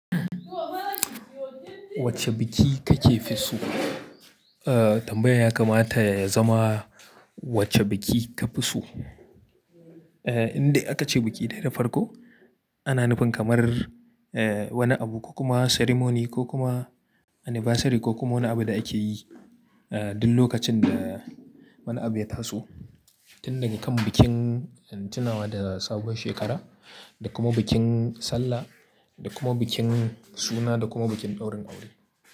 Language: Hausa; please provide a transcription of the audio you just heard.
Wacce biki kake fi so? Eh tambayar ya kamata ya zama wacce biki ka fi so? Eh inda aka ce biki dai da farko, ana nufin kamar eh wani abu ko kuma ceremony ko kuma anniversary ko kuma wani abu da akeyi eh duk lokacin da wani abu ya taso. Tun daga kan bikin tunawa da sabuwar shekara da kuma bikin sallah da kuma bikin suna da kuma bikin daurin aure.